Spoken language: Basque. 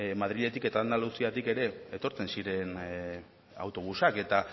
madriletik eta andaluziatik ere etortzen ziren autobusak eta